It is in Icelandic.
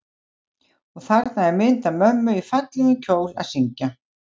Og þarna er mynd af mömmu í fallegum kjól að syngja.